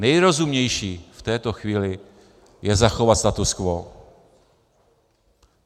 Nejrozumnější v této chvíli je zachovat status quo.